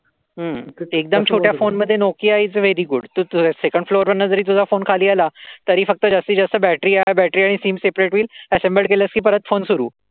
हम्म फोन मध्ये Nokia very good तु तो सेंकंड फ्लोर वरून जरी तुझा फोन खाली आला तरी फक्त जास्तीत जास्त बैटरी बॅटरी आणि सीम सेपरेट होईल. Assembled केलस की परत फोन सुरु.